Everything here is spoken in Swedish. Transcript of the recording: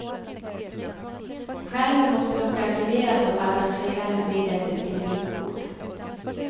Skärmen måste dock aktiveras av passageraren medelst ett kreditkort.